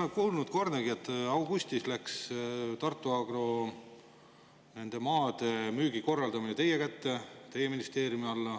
Augustis läks Tartu Agro maade korraldamine teie kätte, teie ministeeriumi alla,